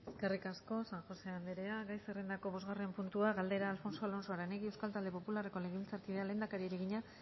eskerrik asko san josé anderea gai zerrendako bosgarren puntua galdera alfonso alonso aranegui euskal talde popularreko legebiltzarkideak lehendakariari egina